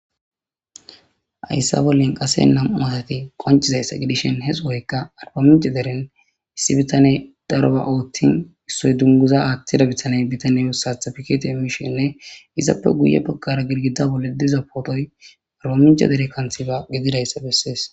Ayssa bollin qase nam7u atati qoncizayssa gidishin he sohoykka arbamince deren issi bitane daroba oothtin issoy dunguza aaththida bitane bitanye wussatha pikete emishhinne izappe guye bakkara gilgida bolle diza pootoy arbamince dere kanthiba gedidayssa bessees.